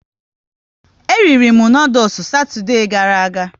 E riri m noodules Satoude gara aga